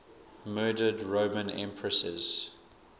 murdered roman empresses